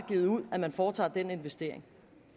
givet ud at man foretager den investering